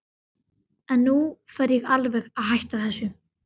En nú fer ég alveg að hætta þessu.